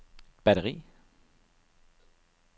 batteri